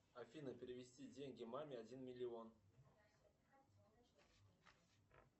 афина перевести деньги маме один миллион